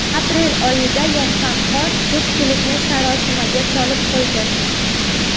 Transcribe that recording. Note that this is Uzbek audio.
Aprel oyida yoqqan qor ko‘pchilikni sarosimaga solib qo‘ydi.